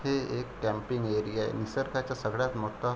हे एक टॅम्पिंग एरिया निसर्गाच्या सगळ्यात मोठा --